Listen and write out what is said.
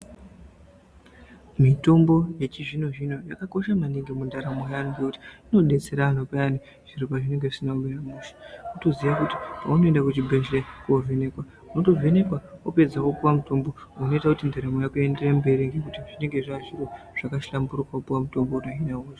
Mitombo yechizvino zvino yakakosha maningi mundaramo yeantu ngekuti inodetsera antu zviro pazvinenge zvisina kumira mushe. Unotoziya kuti paunoende kuchibhehleya, unotovhenekwa wapedza wopuwa mutombo unoita kuti ndaramo yako iyenderere mberi ngekuti zvinenhe zvazviro zvakahlamburuka kupuwa mitombo.